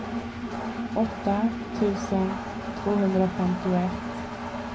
åtta tusen tvåhundrafemtioett